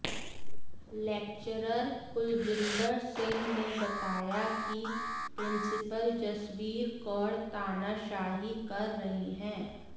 lecturer Kuljinder Singh ने बताया कि पि्रंसिपल जसबीर कौर तानाशाही कर रही हैं